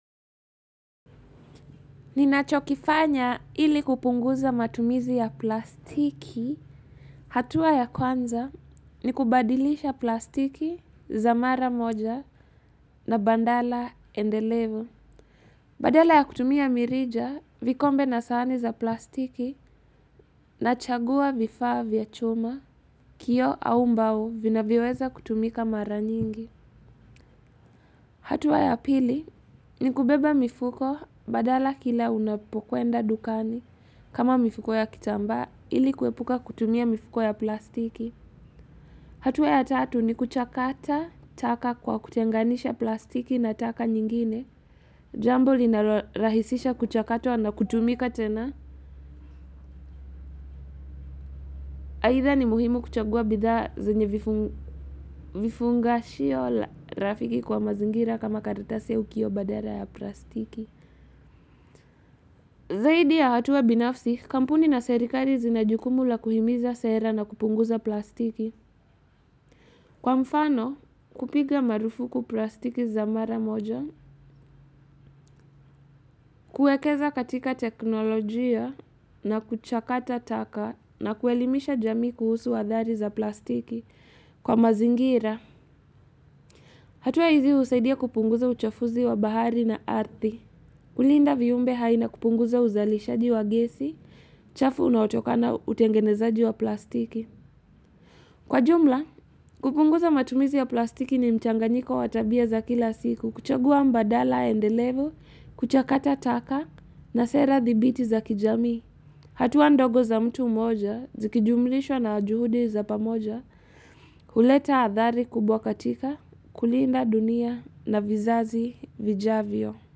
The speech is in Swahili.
Ninachokifanya ili kupunguza matumizi ya plastiki. Hatua ya kwanza ni kubadilisha plastiki za mara moja na badala endelevu. Badala ya kutumia mirija vikombe na sahani za plastiki nachagua vifaa vya chuma kioo au mbao vinavyoweza kutumika mara nyingi. Hatua ya pili ni kubeba mifuko badala kila unapokwenda dukani kama mifuko ya kitambaa ili kuepuka kutumia mifuko ya plastiki. Hatua ya tatu ni kuchakata taka kwa kutenganisha plastiki na taka nyingine. Jambo linarahisisha kuchakatwa na kutumika tena. Aidha ni muhimu kuchagua bidhaa zenye vifungashio rafiki kwa mazingira kama karatasi au kioo badala ya plastiki. Zaidi ya hatua binafsi, kampuni na serikali zina jukumu la kuhimiza sera na kupunguza plastiki. Kwa mfano, kupiga marufuku plastiki za mara moja, kuwekeza katika teknolojia na kuchakata taka na kuelimisha jamii kuhusu athari za plastiki kwa mazingira. Hatua hizi husaidia kupunguza uchafuzi wa bahari na ardhi. Kulinda viyumbe hai na kupunguza uzalishaji wa gesi, chafu unaotokana utengenezaji wa plastiki. Kwa jumla, kupunguza matumizi ya plastiki ni mchanganyiko wa tabia za kila siku, kuchagua badala endelevu, kuchakata taka na sera thabiti za kijamii. Hatua ndogo za mtu moja, zikijumlishwa na juhudi za pamoja, huleta athari kubwa katika, kulinda dunia na vizazi vijavyo.